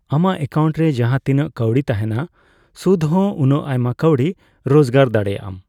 ᱟᱢᱟᱜ ᱮᱠᱟᱭᱩᱱᱴ ᱡᱟᱦᱟᱸᱛᱤᱱᱟᱜ ᱠᱟᱹᱣᱰᱤ ᱛᱟᱦᱮᱱᱟ, ᱥᱩᱫ ᱦᱚᱸ ᱩᱱᱟᱜ ᱟᱭᱢᱟ ᱠᱟᱹᱣᱰᱤ ᱨᱳᱡᱜᱟᱨ ᱫᱟᱲᱮᱭᱟᱜᱼᱟᱢ᱾